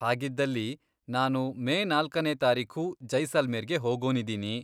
ಹಾಗಿದ್ದಲ್ಲಿ, ನಾನು ಮೇ ನಾಲ್ಕನೇ ತಾರೀಖು ಜೈಸಲ್ಮೇರ್ಗೆ ಹೋಗೋನಿದೀನಿ.